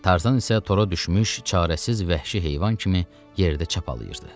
Tarzan isə tora düşmüş, çarəsiz vəhşi heyvan kimi yerdə çapalayırdı.